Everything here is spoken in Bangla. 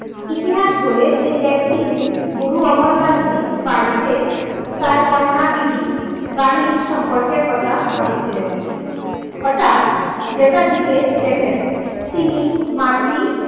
ইতিহাস বলে, যে একদিন গুরু অমরদাসজি বাড়িতে তার কন্যা বীবী বাণীর সম্পর্কের কথা ভাবছিলেন হঠাৎ জেঠাজী কে দেখেন, তিনি মাটি,